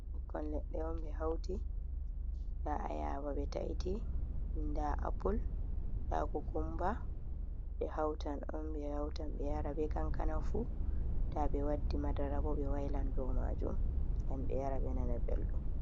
Ɓikkon leɗɗe on ɓe hauti, nda ayaba be ta'iti, nda apul, nda kokumba, ɓe hautan on ɓe hautan ɓe yara be kankana fu, nda ɓe waddi madara bo ɓe wailan do majum ngam ɓe yara ɓe nana beldum.